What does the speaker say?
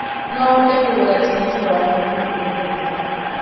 no hote kũgũra tigiti wa mũgithi ũmũthĩ